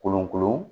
Kolon kolon